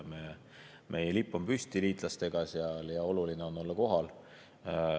Meie lipp on seal koos liitlaste omadega püsti ja oluline on olla kohal.